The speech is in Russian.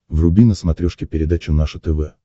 вруби на смотрешке передачу наше тв